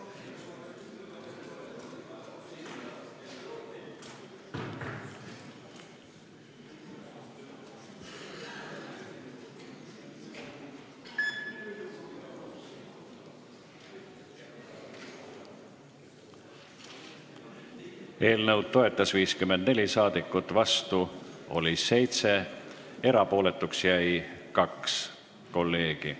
Hääletustulemused Eelnõu toetas 54 rahvasaadikut, vastu oli 7, erapooletuks jäi 2 kolleegi.